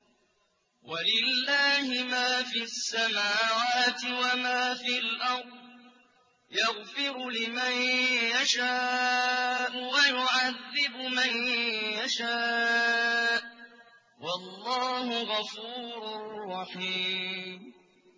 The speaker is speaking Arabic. وَلِلَّهِ مَا فِي السَّمَاوَاتِ وَمَا فِي الْأَرْضِ ۚ يَغْفِرُ لِمَن يَشَاءُ وَيُعَذِّبُ مَن يَشَاءُ ۚ وَاللَّهُ غَفُورٌ رَّحِيمٌ